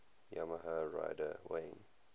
yamaha rider wayne